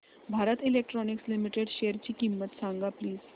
Bharat electronics limited शेअरची किंमत सांगा प्लीज